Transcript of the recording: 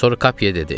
Sonra Kape dedi.